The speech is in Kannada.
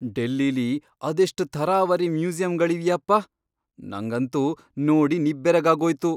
ಡೆಲ್ಲಿಲಿ ಅದೆಷ್ಟ್ ಥರಾವರಿ ಮ್ಯೂಸಿಯಮ್ಗಳಿವ್ಯಪ್ಪ! ನಂಗಂತೂ ನೋಡಿ ನಿಬ್ಬೆರಗಾಗೋಯ್ತು.